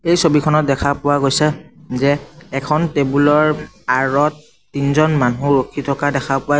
এই ছবিখনত দেখা পোৱা গৈছে যে এখন টেবুল ৰ আঁৰত তিনজন মানুহ ৰখি থকা দেখা পোৱা--